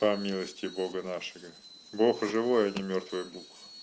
по милости бога нашего бог живой ни мёртвый был